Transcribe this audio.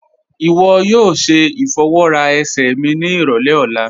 Iwọ yóò ṣẹ ifọwọra ẹ̀sẹ̀ mi ni irọlẹ̀ ọ̀la